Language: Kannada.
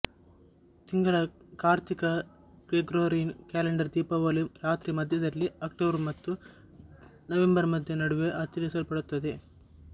ತಿಂಗಳ ಕಾರ್ತಿಕ ಗ್ರೆಗೋರಿಯನ್ ಕ್ಯಾಲೆಂಡರ್ ದೀಪಾವಳಿ ರಾತ್ರಿ ಮಧ್ಯದಲ್ಲಿ ಅಕ್ಟೋಬರ್ ಮತ್ತು ನವೆಂಬರ್ ಮಧ್ಯ ನಡುವೆ ಆಚರಿಸಲ್ಪಡುತ್ತದೆ